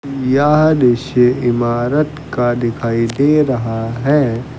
यह दृश्य इमारत का दिखाई दे रहा है।